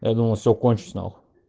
я думал всё кончусь нахуй